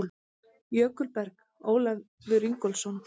Jökulberg: Ólafur Ingólfsson.